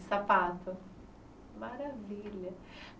Sapato maravilha.